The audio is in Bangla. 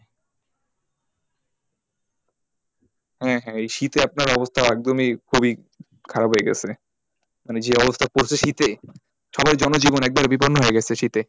হ্যাঁ হ্যাঁ এই শীতে আপনার অবস্থা একদমই খুবই খারাপ হয়ে গেছে মানে যে অবস্থা করছে শীতে সবার জনজীবন একবারে বিপন্ন হয়ে গেছে শীতে,